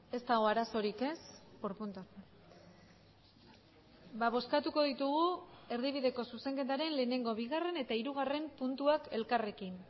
ez dago arazorik ez por puntos bozkatuko ditugu erdibideko zuzenketaren lehenengo bigarren eta hirugarren puntuak elkarrekin